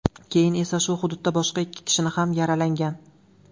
Keyin esa shu hududda boshqa ikki kishini ham yaralangan.